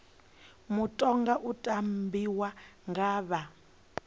mutoga u tambiwa nga vha